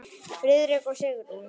Friðrik og Sigrún.